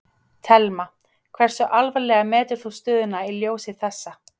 Telma: Hversu alvarlega metur þú stöðuna í ljósi þessa?